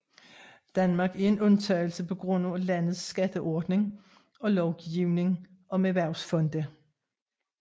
Danmark er en undtagelse på grund af landets skatteordning og lovgivning om erhvervsfonde